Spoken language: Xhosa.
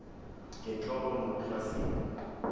ngentloko nokuba sibe